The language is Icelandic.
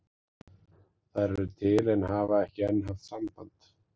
Þær eru til en hafa ekki enn haft samband